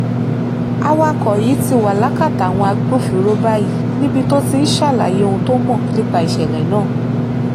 awakọ̀ yìí ti wà lákàtà àwọn agbófinró báyìí níbi tó ti ń ṣàlàyé ohun tó mọ̀ nípa ìṣẹ̀lẹ̀ náà